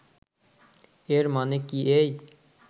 এর মানে কি এই